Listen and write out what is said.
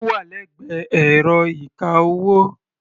Ó wà lẹ́gbẹ̀ẹ́ ẹ̀rọ ìka-owó.